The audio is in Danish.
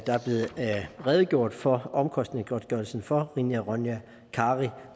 der er blevet redegjort for omkostningsgodtgørelsen for rina ronja kari